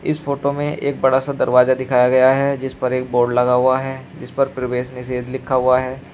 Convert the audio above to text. इस फोटो में एक बड़ा सा दरवाजा दिखाया गया है जिस पर एक बोर्ड लगा हुआ है जीस पर प्रवेश निषेध लिखा हुआ है।